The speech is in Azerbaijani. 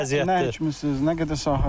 Mən nə kimisiniz, nə qədər sahə?